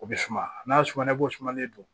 O bɛ suma n'a sumara bosumen do